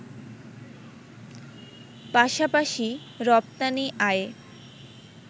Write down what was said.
পাশাপাশি রপ্তানি আয়ে